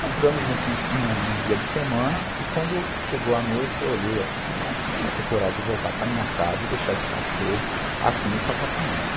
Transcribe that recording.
Compramos no no dia de semana e quando chegou a noite eu olhei e falei, não vou ter coragem de voltar para minha casa e deixar esse cachorro aqui nesse apartamento.